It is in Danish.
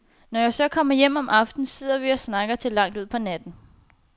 Når jeg så kommer hjem om aftenen, sidder vi og snakker til langt ud på natten.